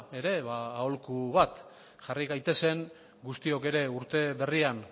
ere aholku bat jarri gaitezen guztiok ere urte berrian